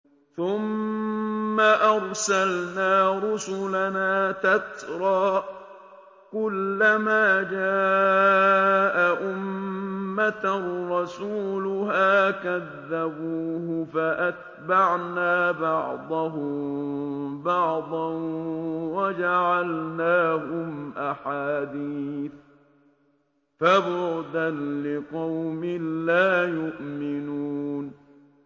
ثُمَّ أَرْسَلْنَا رُسُلَنَا تَتْرَىٰ ۖ كُلَّ مَا جَاءَ أُمَّةً رَّسُولُهَا كَذَّبُوهُ ۚ فَأَتْبَعْنَا بَعْضَهُم بَعْضًا وَجَعَلْنَاهُمْ أَحَادِيثَ ۚ فَبُعْدًا لِّقَوْمٍ لَّا يُؤْمِنُونَ